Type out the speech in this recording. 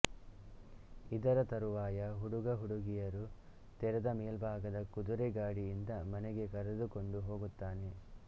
ಇದರ ತರುವಾಯ ಹುಡುಗ ಹುಡುಗಿಯರು ತೆರೆದಮೇಲ್ಭಾಗದ ಕುದುರೆ ಗಾಡಿಯಿಂದ ಮನೆಗೆ ಕರೆದುಕೊಂಡು ಹೋಗುತ್ತಾನೆ